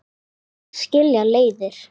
Nú skilja leiðir.